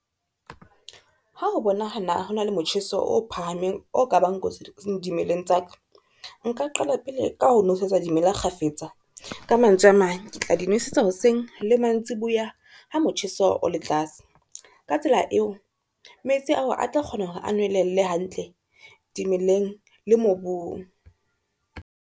Ha o bonahala ho na le motjheso o phahameng o ka bang kotsi dimeleng tsa ka, nka qala pele ka ho nosetsa dimela kgafetsa. Ka mantswe a mang, ke tla di nosetsa hoseng le mantsiboya ha motjheso o le tlase, ka tsela eo metsi ao a tla kgona hore a nwellele hantle dimeleng le mobung.